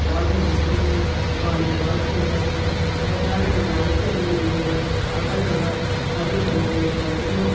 Ball है जिसमें से वॉलीबाल खेल रहे है मैदान में लाइट लगी हुई है अगल बगल हरेभरे पेड़ पौधे है।